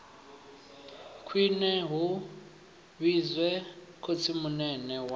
khwine hu vhidzwe khotsimunene wa